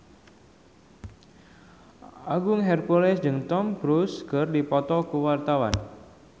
Agung Hercules jeung Tom Cruise keur dipoto ku wartawan